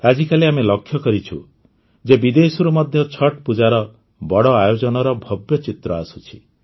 ଆଜିକାଲି ଆମେ ଲକ୍ଷ୍ୟ କରୁଛୁ ଯେ ବିଦେଶରୁ ମଧ୍ୟ ଛଠ୍ ପୂଜାର ବଡ଼ ଆୟୋଜନର ଭବ୍ୟ ଚିତ୍ର ଆସୁଛି